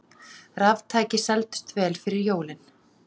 Raftæki seldust vel fyrir jólin